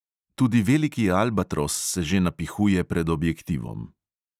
Tudi veliki albatros se že napihuje pred objektivom.